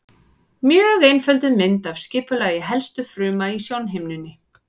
Mjög einfölduð mynd af skipulagi helstu fruma í sjónhimnunni.